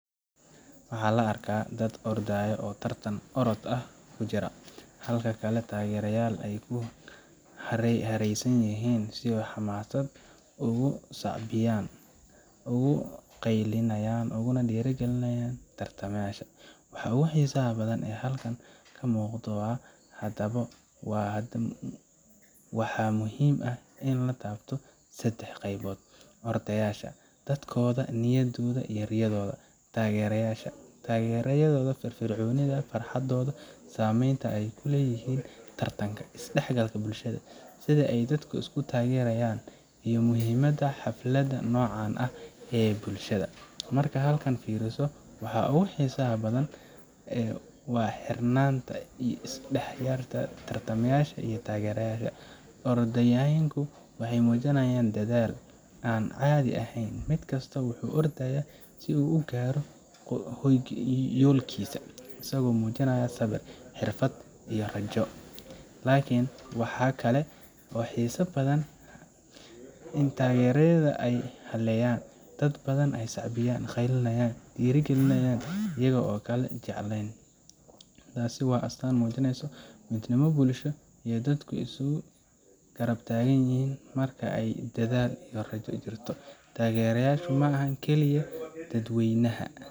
Waxaa la arkayaa dad ordaya oo tartan orod ah ku jira, halka dad kale taageerayaal ay ku hareeraysan yihiin oo si xamaasad leh ugu sacbinayaan, u qeylinayaan, uguna dhiirrigelinayaan tartamayaasha. waxaa ugu xiisaha badan ee halkan ka muuqda. Haddaba, waxaa muhiim ah in la taabto saddex qaybood Orodyaasha dadaalkooda, niyadooda, riyadooda. Taageerayaasha taageeradooda firfircoon, farxadooda, saamaynta ay ku leeyihiin tartanka. Isdhexgalka bulshada sida ay dadka isu taageerayaan, iyo muhiimadda xafladaha noocan ah ee bulsho ahaan. Marka aad halkan fiiriso, waxa ugu xiisaha badan waa isku xirnaanta u dhaxaysa tartamayaasha iyo taageerayaasha. Orodyahannadu waxay muujiyeen dadaal aan caadi ahayn, mid kasta wuxuu u ordayaa si uu u gaaro yoolkiisa, isagoo muujinaya sabir, xirfad, iyo rajo. Laakiin waxa ka sii xiiso badan ayaa ah taageerada ay helayaan dad badan oo sacbinaya, qaylinaya, oo dhiirrigelinaya iyaga oo aan kala jeclayn. Taasi waa astaan muujinaysa midnimo bulsho iyo sida dadku isu garab taagaan marka ay arkaan dadaal iyo rajo jirto. Taageerayaashu ma aha oo kaliya dad weynaha.